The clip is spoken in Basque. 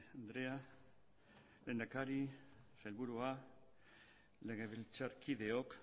andrea lehendakari sailburuok legebiltzarkideok